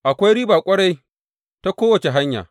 Akwai riba ƙwarai ta kowace hanya!